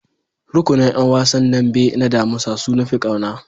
Rukunin ƴan wasan dambe na damusa su nafi kauna.